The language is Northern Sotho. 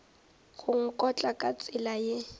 go nkotla ka tsela ye